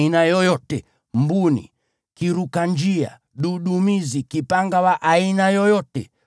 mbuni, kiruka-njia, dudumizi, kipanga wa aina yoyote,